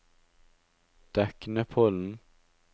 Deknepollen